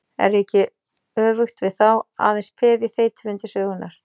Er ég ekki, öfugt við þá, aðeins peð í þeytivindu sögunnar?